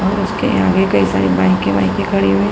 और उसके आगे कई सारी बाइकें वाईके खड़ी हुई --